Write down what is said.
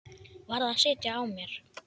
Varð að sitja á mér.